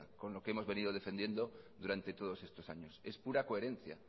con lo que hemos venido defendiendo durante todos estos años es pura coherencia